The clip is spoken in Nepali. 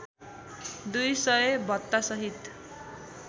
दुई सय भत्तासहित